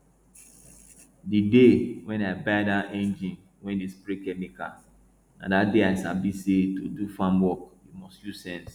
the day wey i buy dat engine wey dey spray chemical na dat day i sabi say to do farm work you must use sense